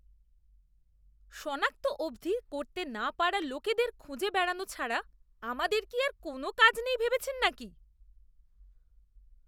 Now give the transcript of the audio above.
সনাক্ত অবধি করতে না পারা লোকেদের খুঁজে বেড়ানো ছাড়া আমাদের কি আর কোনও কাজ নেই ভেবেছেন নাকি?